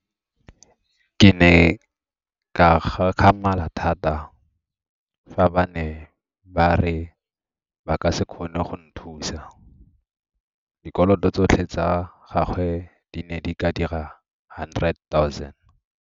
Ke ne ka gakgamala thata fa ba ne ba re ba ka se kgone go nthusa. Dikoloto tsotlhe tsa gagwe di ne di ka dira 100 000.